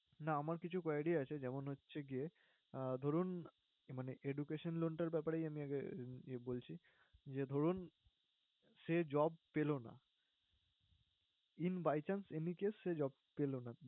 না আমার কিছু query আছে, যেমন হচ্ছে গিয়ে আহ ধরুন মানে education loan টার ব্যাপারেই আমি আগে বলছি। যে ধরুন, সে job পেলো না, in by chance any case সে job পেলো না